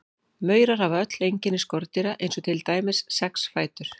Maurar hafa öll einkenni skordýra eins og til dæmis sex fætur.